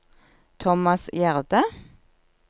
Thomas Gjerde